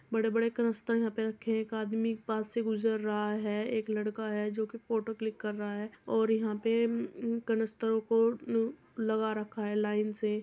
बड़े-बड़े कनस्तर यहां पे रखे हैं। एक आदमी पास से गुजर रहा है। एक लड़का है जो कि फोटो क्लिक कर रहा है और यहाँ पे उम्म उम्म कनस्तरों को उम्म लगा रखा है लाइन से --